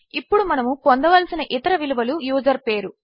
ఇప్పుడు మనముపొందవలసినఇతరవిలువలుయూజర్పేరు